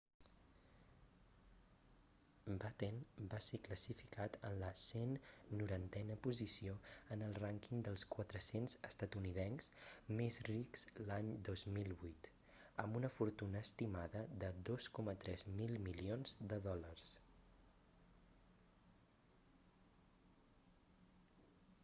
batten va ser classificat en la 190a posició en el rànquing dels 400 estatunidencs més rics l'any 2008 amb una fortuna estimada de 2,3 mil milions de dòlars